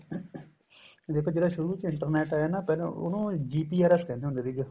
ਦੇਖੋ ਜਿਹੜਾ ਸ਼ੁਰੂ ਚ internet ਆਇਆ ਨਾ ਪਹਿਲਾਂ ਉਹਨੂੰ GPRS ਕਹਿੰਦੇ ਹੁੰਦੇ ਸੀਗੇ